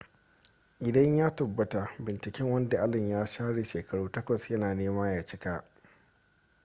idan ya tabbata binciken wanda allen ya share shekaru takwas ya na nema ya cika